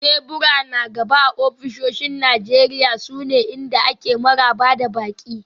Tebura na gaba a ofisoshin Najeriya sune inda ake maraba da baƙi.